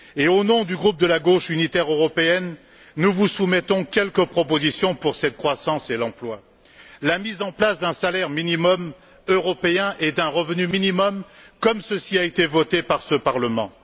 Au nom du groupe de la gauche unitaire européenne, nous vous soumettons quelques propositions pour cette croissance et l'emploi la mise en place d'un salaire minimum européen et d'un revenu minimum, comme ceci a été voté par ce Parlement